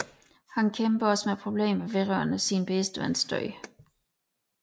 Han kæmper også med problemer vedrørende sin bedste vens død